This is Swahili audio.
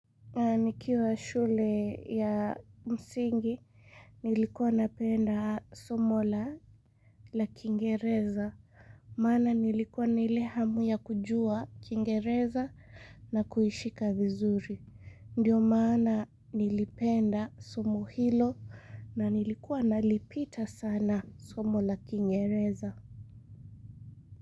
Nikiwa shule ya msingi, nilikuwa napenda somo la la kingereza. Maana nilikuwa na ile hamu ya kujua kingereza na kuishika vizuri. Ndiyo maana nilipenda somo hilo na nilikuwa nalipita sana somo la kingereza.